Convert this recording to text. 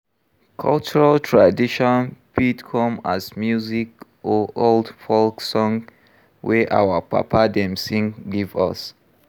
Cultural traditon fit come as music or old folk song wey our papa dem sing give us